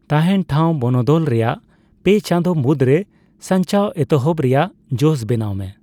ᱛᱟᱦᱮᱸᱱ ᱴᱷᱟᱣ ᱵᱚᱱᱚᱫᱚᱞ ᱨᱮᱭᱟᱜ ᱯᱮ ᱪᱟᱸᱫᱚ ᱢᱩᱫᱽ ᱨᱮ ᱥᱟᱱᱪᱟᱣ ᱮᱛᱚᱦᱚᱵ ᱨᱮᱭᱟᱜ ᱡᱚᱥ ᱵᱮᱱᱟᱣ ᱢᱮ ᱾